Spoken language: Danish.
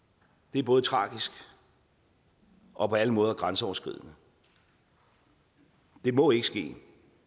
er både tragisk og og på alle måder grænseoverskridende det må ikke ske